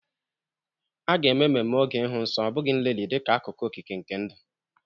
A ga-eme ememme oge ịhụ nsọ, ọ bụghị nlelị, dịka akụkụ okike nke ndụ.